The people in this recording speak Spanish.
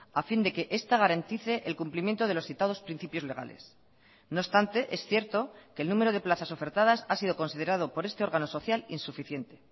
a fin de que esta garantice el cumplimiento de los citados principios legales no obstante es cierto que el número de plazas ofertadas ha sido considerado por este órgano social insuficiente